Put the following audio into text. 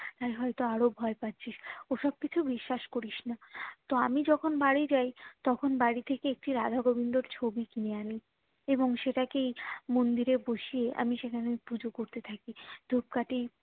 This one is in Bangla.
তাই হয়তো আরো ভয় পাচ্ছিস ওসব কিছু বিশ্বাস করিস না তো আমি যখুন বাড়ি যাই তখন বাড়ি থেকে একই রাধা গোবিন্দর ছবি কিনে আনি এবং সেটাকেই মন্দিরে বসিয়ে আমি সেখানেই পুজো করতে থাকি ধূপকাঠি